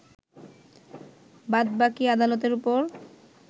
বাদবাকি আদালতের ওপর